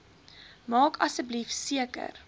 maak asseblief seker